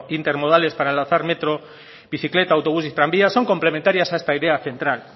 inter modales para lanzar metro bicicleta autobús y tranvía son complementarias a esta idea central